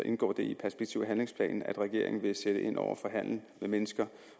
indgår det i perspektiv og handlingsplanen at regeringen vil sætte ind over for handel med mennesker